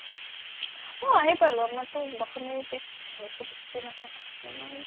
অ আহি পালো আমাৰটো দশমীৰ পিছদিনায়ে চুটী টুটী নাথাকা মানুহ ন আমি